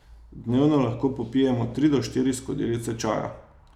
Dnevno lahko popijemo tri do štiri skodelice čaja.